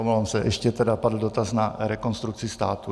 Omlouvám se, ještě tady padl dotaz na Rekonstrukci státu.